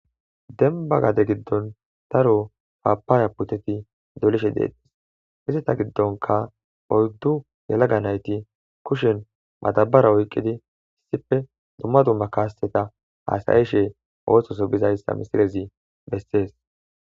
denba gade giddon daro paapaaya puteti dolishe deetes izeta giddonka oyddu yalaga nayti kushen madabara oyqqidi issife dumma dumma kaaseta haasayishee oososo bizayssa misilezi bessees